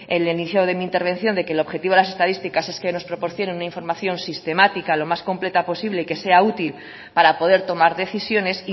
el inicio de mi intervención de que el objetivo de las estadísticas es que nos proporcionen una información sistemática lo más completa posible que sea útil para poder tomar decisiones